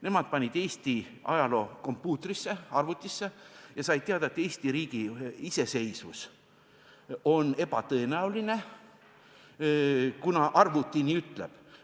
Nemad panid Eesti ajaloo kompuutrisse, arvutisse ja said teada, et Eesti riigi iseseisvus on ebatõenäoline, kuna arvuti nii ütleb.